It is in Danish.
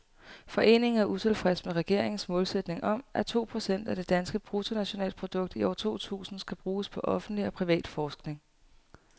Foreningen er utilfreds med regeringens målsætning om, at to procent af det danske bruttonationalprodukt i år to tusind skal bruges på offentlig og privat forskning.